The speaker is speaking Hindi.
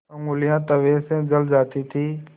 ऊँगलियाँ तवे से जल जाती थीं